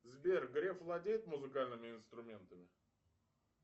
сбер греф владеет музыкальными инструментами